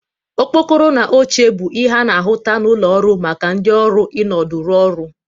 Okpokoro na oche bụ ihe a na-ahụta n'ụlọ ọrụ maka ndị ọrụ ịnọdụ rụ ọrụ